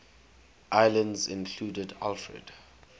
islands included alfred